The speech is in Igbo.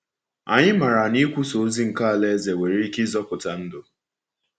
Anyị maara na ikwusa ozi nke Alaeze nwere ike ịzọpụta ndụ.